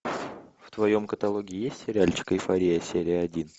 в твоем каталоге есть сериальчик эйфория серия один